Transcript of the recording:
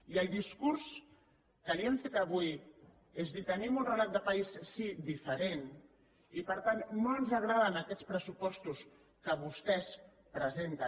i el discurs que li hem fet avui és dir tenim un relat de país sí diferent i per tant no ens agraden aquests pressupostos que vostès presenten